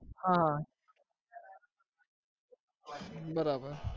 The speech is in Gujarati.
હા બરાબર